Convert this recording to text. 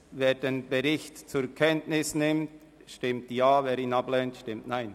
Wer den Bericht zur Kenntnis nimmt, stimmt Ja, wer dies ablehnt, stimmt Nein.